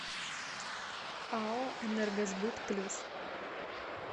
ао энергосбыт плюс